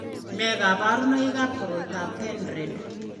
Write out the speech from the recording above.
Nee kabarunoikab koroitoab Pendred?